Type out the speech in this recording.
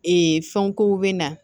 Ee fɛnw kow bɛ na